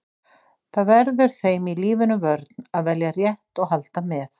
Það verður þeim í lífinu vörn að velja rétt og halda með.